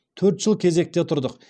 төрт жыл кезекте тұрдық